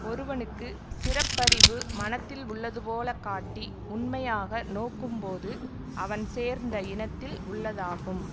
ஒருவனுக்கு சிறப்பறிவு மனத்தில் உள்ளது போலக் காட்டி உண்மையாக நோக்கும் போது அவன் சேர்ந்த இனத்தில் உள்ளதாகும்